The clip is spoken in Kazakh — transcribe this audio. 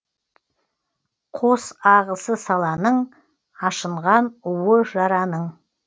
қос ағысы саланың ашынған уы жараның